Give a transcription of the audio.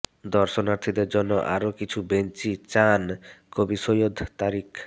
দর্শনার্থীদের জন্য আরও কিছু বেঞ্চি চান কবি সৈয়দ তারিক